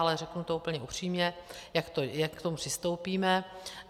Ale řeknu to úplně upřímně, jak k tomu přistoupíme.